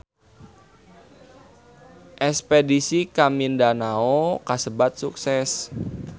Espedisi ka Mindanao kasebat sukses